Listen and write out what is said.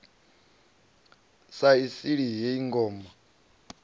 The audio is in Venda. sa i sili heyi ngoma